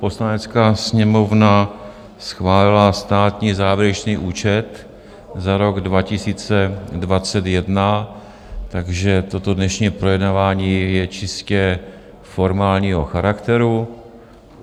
Poslanecká sněmovna schválila státní závěrečný účet za rok 2021, takže toto dnešní projednávání je čistě formálního charakteru.